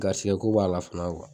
Gasigɛ ko b'a la fana